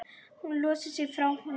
Hún losar sig frá honum.